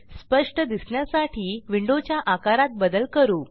स्पष्ट दिसण्यासाठी विंडोच्या आकारात बदल करू